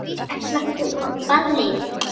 Ætlar þú á ballið?